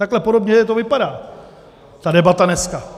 Takhle podobně to vypadá, ta debata dneska.